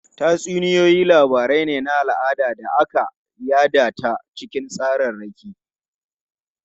Tatsuniyoyi labaru ne na al'ada da aka yada ta cikin tsararraki.